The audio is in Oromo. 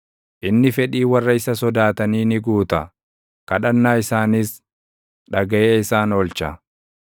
Inni fedhii warra isa sodaatanii ni guuta; kadhannaa isaanis dhagaʼee isaan oolcha.